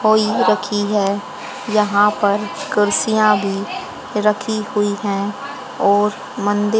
होई रखी है यहां पर कुर्सियां भी रखी हुई है और मंदिर--